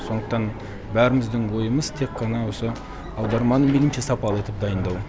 сондықтан бәріміздің ойымыз тек қана осы аударманы мейлінше сапалы етіп дайындау